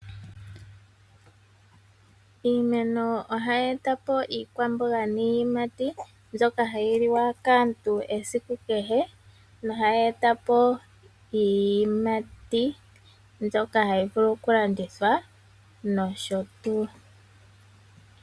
Iimeno ohayi eta po iikwamboga niiyimati mbyoka hayi liwa kaantu esiku kehe, nohayi eta po iiyimati mbyoka hayi vulu okulandithwa nosho tuu.